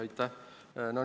Aitäh!